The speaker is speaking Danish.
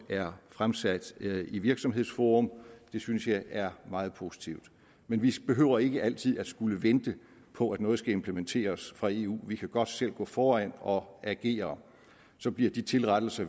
er fremsat i virksomhedsforum det synes jeg er meget positivt men vi behøver ikke altid at skulle vente på at noget skal implementeres fra eu vi kan godt selv gå foran og agere så bliver de tilrettelser